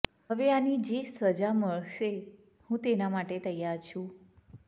હવે આની જે સજા મળશે હું તેના માટે તૈયાર છુ